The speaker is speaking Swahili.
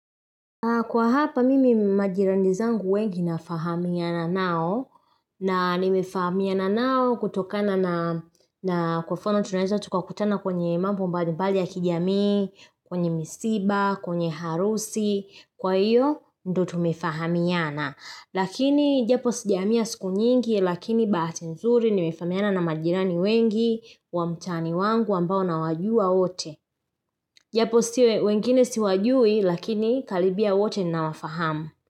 Kwa hapa mimi majirani zangu wengi nafahamiana nao na nimefahamiana nao kutokana na kwa mfano tunaeza tukakutana kwenye mambo mbalimbali ya kijamii, kwenye misiba, kwenye harusi, kwa iyo ndio tumefahamiana. Lakini japo sijahamia siku nyingi lakini bahati nzuri nimefahamiana na majirani wengi wa mtaani wangu ambao nawajua wote. Japo still wengine siwajui lakini karibia wote ninawafahamu.